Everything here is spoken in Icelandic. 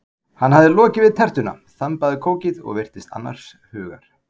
Hann hafði lokið við tertuna, þambaði kókið og virtist annars hugar.